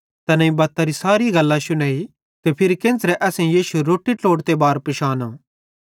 तैनेईं बत्तरी सैरी गल्लां शुनेइ ते फिरी केन्च़रे असेईं यीशु रोट्टी ट्लोड़ते बार पिशानो